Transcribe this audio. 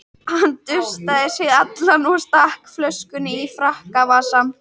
Hann dustaði sig allan og stakk flöskunni í frakkavasann.